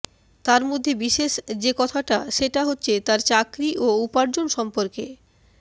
তার মধ্যে বিশেষ যে কথাটা সেটা হচ্ছে তার চাকরি ও উপার্জন সম্পর্কে